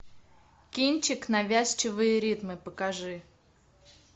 кинчик навязчивые ритмы покажи